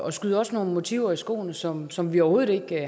at skyde os nogle motiver i skoene som som vi overhovedet ikke